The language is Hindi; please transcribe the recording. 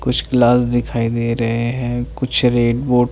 कुछ लाल दिखाई दे रहे हैं कुछ रेड बो--